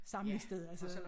Samlingssted altså det jo